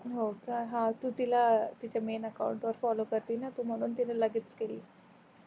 हो का हा तू तिला तिच्या में अकाउंट वर फोल्लोव करते न त्याच्यामुले तीन लगेच केली